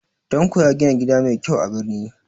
Tanko ya gina gida mai kyau a birni